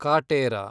Kaatera